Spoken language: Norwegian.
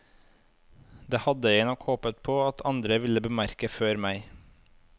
Det hadde jeg nok håpet på at andre ville bemerke før meg.